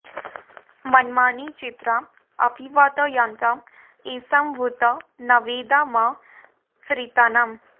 मन्मा॑नि चित्रा अपिवा॒तय॑न्त ए॒षां भू॑त॒ नवे॑दा म ऋ॒ताना॑म्